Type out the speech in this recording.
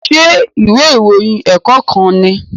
Ṣé ìwé ìròyìn ẹ̀kọ́ kan nìí?